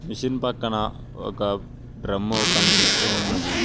Machine పక్కన ఒక drum కనిపిస్తూ ఉన్నది.